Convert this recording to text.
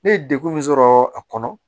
Ne ye degun min sɔrɔ a kɔnɔ